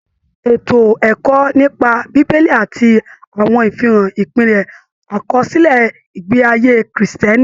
Ètò ẹ̀kọ́ nípa bíbélì àti àwọn àfihàn ìpìlẹ àkọsílẹ ìgbé ayé Kiristẹni.